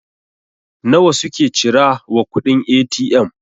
nawa suke cira wa kuɗin A.T.M?